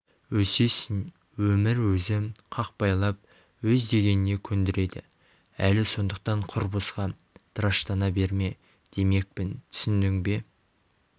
өсесің өмір өзі қақпайлап өз дегеніне көндіреді әлі сондықтан құр босқа тыраштана берме демекпін түсіндің бе